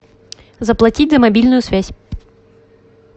заплатить за мобильную связь